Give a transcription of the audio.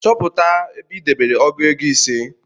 Chọpụta ebe i debere ọgụ ego ise